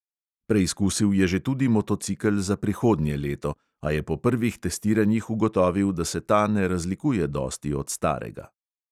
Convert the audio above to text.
Preizkusil je že tudi motocikel za prihodnje leto, a je po prvih testiranjih ugotovil, da se ta ne razlikuje dosti od starega.